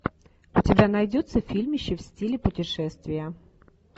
у тебя найдется фильмище в стиле путешествия